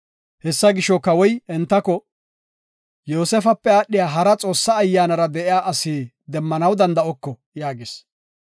Hessa gisho, Kawoy entako, “Yoosefape aadhiya hara Xoossa Ayyaanara de7iya asi demmanaw danda7oko” yaagis.